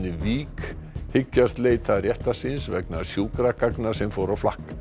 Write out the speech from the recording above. Vík hyggjast leita réttar síns vegna sjúkragagna sem fóru á flakk